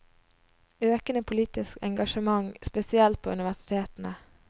Økende politisk engasjement, spesielt på universitetene.